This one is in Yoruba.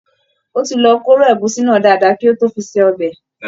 Ó ti lọ kóró ẹ̀gúsí náà dáadáa kí ó tó fi ṣe ọbẹ̀